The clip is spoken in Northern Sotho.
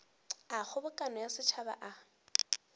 a kgobokano ya setšhaba a